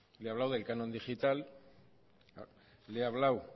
tal le he hablado del canon digital le he hablado